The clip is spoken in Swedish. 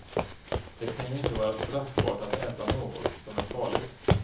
Det kan ju inte vara straffbart att äta något som är farligt.